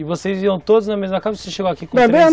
E vocês iam todos na mesma casa ou você chegou aqui com